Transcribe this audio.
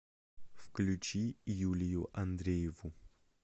включи юлию андрееву